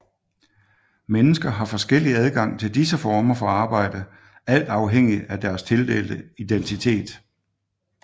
Mennesker har forskellig adgang til disse former for arbejde alt afhængigt af deres tildelte identitet